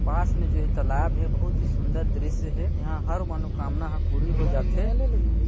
पास में जो ये तालाब है बहुत ही सुन्दर दृश्य है यहाँ हर मनोकामना ह पूरी हो जाथे।